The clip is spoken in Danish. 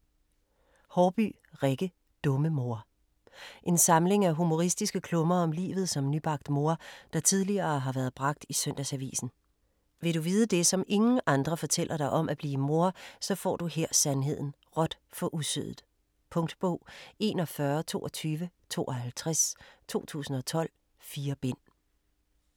Haarbye, Rikke: Dumme mor En samling af humoristiske klummer om livet som nybagt mor, der tidligere har været bragt i Søndagsavisen. Vil du vide det, som ingen andre fortæller dig om at blive mor, så får du her sandheden - råt for usødet. Punktbog 412252 2012. 4 bind.